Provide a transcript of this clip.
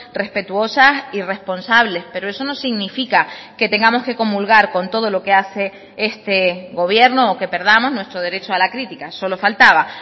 respetuosas y responsables pero eso no significa que tengamos que comulgar con todo lo que hace este gobierno o que perdamos nuestro derecho a la crítica solo faltaba